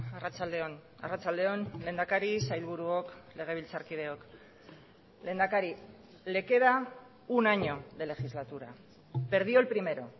arratsalde on arratsalde on lehendakari sailburuok legebiltzarkideok lehendakari le queda un año de legislatura perdió el primero